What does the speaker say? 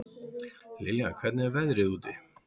Liljá, hvernig er veðrið úti?